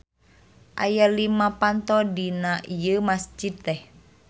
Aya lima panto dina ieu masjid teh.